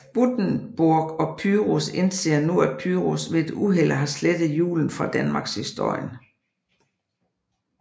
Guttenborg og Pyrus indser nu at Pyrus ved et uheld har slettet julen fra Danmarkshistorien